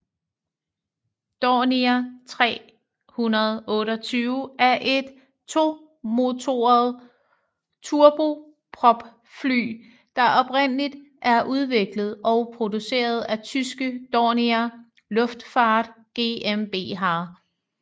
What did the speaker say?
Dornier 328 er et tomotoret turbopropfly der oprindeligt er udviklet og produceret af tyske Dornier Luftfahrt GmbH